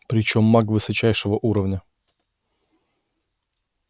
причём маг высочайшего уровня